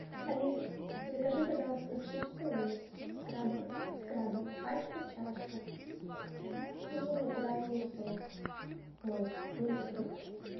алиса закажи пожалуйста чипсы лейс с крабом пачка чашка и натуральный сок мой мультифрукт